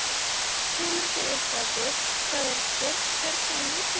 Kemur þér eitthvað við hvað er geymt hérna í húsinu?